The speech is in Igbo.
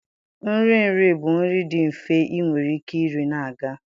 Nri nri bụ nri dị mfe ị nwere ike iri na-aga.